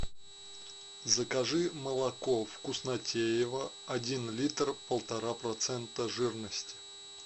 закажи молоко вкуснотеево один литр полтора процента жирности